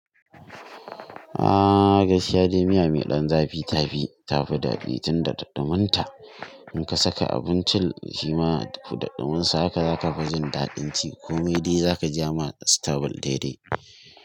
Ah gaskiya dai miya mai ɗan zafi ta fi, tafi daɓi tunda da ɗuminta. In ka saka abincin shima da ɗuminsa haka za ka fi jin daɗin ci ko mai dai za ka ja ma sitabil daidai.